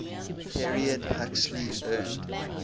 period huxley earned